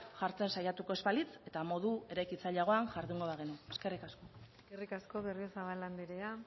jartzen saiatuko ez balitz eta modu eraikitzaileagoan jardungo bagenu eskerrik asko eskerrik asko berriozabal andrea